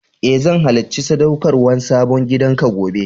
E, zan halacci sadaukarwan sabon gidan ka gobe.